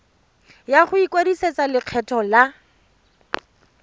ya go ikwadisetsa lekgetho la